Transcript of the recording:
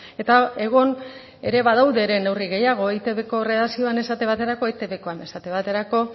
eta egon ere badaude ere neurri gehiago eitbko erredakzioan esate baterako etbkoan esate baterako